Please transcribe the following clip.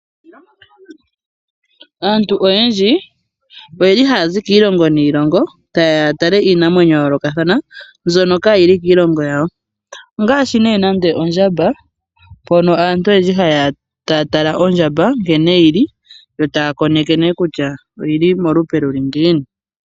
Aantu oyendji oye li haya zi kiilongo niilongo taye ya ya tale iinamwenyo ya yoolokathana mbyoka kaa yi li kiilongo yawo ongaashi ne nande ondjamba mpono aantu oyendji haye ya taya tala nkene yi li yo taya koneke kutya oyi li molupe luli ngiini.